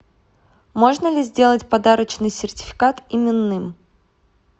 можно ли сделать подарочный сертификат именным